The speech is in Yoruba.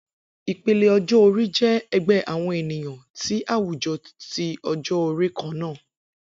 Ipele ọjọ-ori jẹ ẹgbẹ awọn eniyan ni awujọ ti ọjọ-ori kanna.